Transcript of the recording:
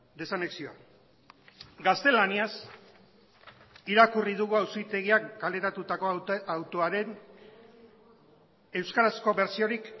desanexioa gaztelaniaz irakurri dugu auzitegiak kaleratutako autoaren euskarazko bertsiorik